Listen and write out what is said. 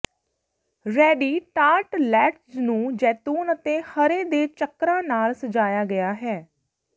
ready tartlets ਨੂੰ ਜੈਤੂਨ ਅਤੇ ਹਰੇ ਦੇ ਚੱਕਰਾਂ ਨਾਲ ਸਜਾਇਆ ਗਿਆ ਹੈ